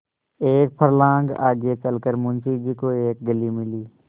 एक फर्लांग आगे चल कर मुंशी जी को एक गली मिली